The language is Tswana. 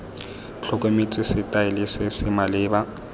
tlhokometswe setaele se se maleba